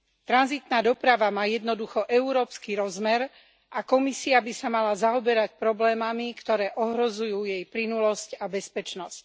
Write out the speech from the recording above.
Tranzitná doprava má jednoducho európsky rozmer a Komisia by sa mala zaoberať problémami, ktoré ohrozujú jej plynulosť a bezpečnosť.